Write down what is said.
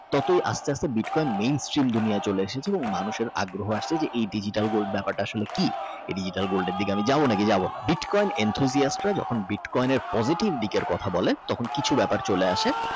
তাতে আস্তে আস্তে বিটকয়েন দুনিয়ায় চলে এসেছে মানুষ রাগ করে আসছে যে এই Digital gold ব্যাপারটা আসলে কি Digital gold কোয়েলের দিকে আমি যাব নাকি যাব না বিটকয়েন Intro আছে যে যখন বিটকয়েনের Positive দিকের কথা বলে তখন কিছু ব্যাপার চলে আসে